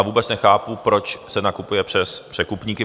A vůbec nechápu, proč se nakupuje přes překupníky?